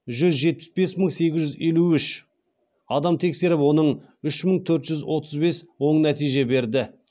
жүз жетпіс бес мың сегіз жүз елу үш адам тексеріліп оның үш мың төрт жүз отыз бес оң нәтиже берді